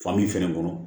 Fan min fɛnɛ kɔnɔ